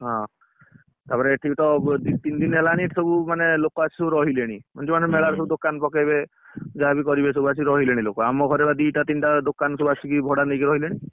ହଁ, ତାପରେ ଏଠିକି ତ ଦି ତିନ ଦିନ ହେଲାନି ଏଇଠି ସବୁ ମାନେ ଲୋକ ଆସି ସବୁ ରହିଲେଣି ମାନେ ଯୋଉ ମାନେ ମେଳା ରେ ସବୁ ଦୋକାନ ପକେଇବେ। ଯାହା ବି କରିବେ ସବୁ ଆସି ରହିଲେଣି ଲୋକ ଆମ ଘରେ ବା ଦିଟା ତିନଟା ଦୋକାନ ସବୁ ଆସିକି ଭଡା ନେଇକି ରହିଲେଣି।